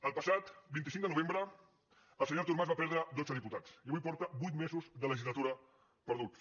el passat vint cinc de novembre el senyor artur mas va perdre dotze diputats i avui porta vuit mesos de legislatura perduts